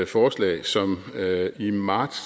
forslag som i marts